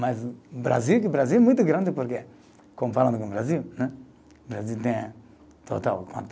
Mas Brasil, Brasil é muito grande, porque, comparando com o Brasil, né, o Brasil tem, total, quanto?